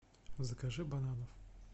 закажи бананов